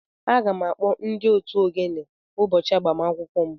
Aga m akpọ ndị otu ogene ụbọchị agbamakwụkwọ m